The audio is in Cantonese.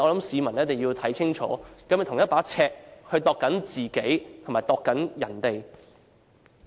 市民一定要看清楚，他是否用同一把尺來量度自己和別人。